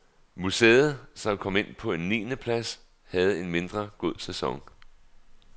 Museet, som kom ind på en niende plads, havde en mindre god sæson.